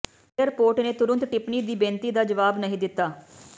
airport ਨੇ ਤੁਰੰਤ ਟਿੱਪਣੀ ਦੀ ਬੇਨਤੀ ਦਾ ਜਵਾਬ ਨਹੀਂ ਦਿੱਤਾ